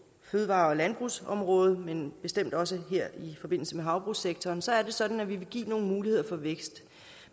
fødevare og landbrugsområdet men bestemt også her i forbindelse med havbrugssektoren så er det sådan at vi vil give nogle muligheder for vækst